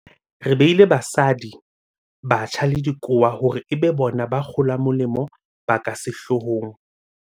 Re beile basadi, batjha le dikowa hore e be bona ba kgolamolemo ba ka sehloo hong.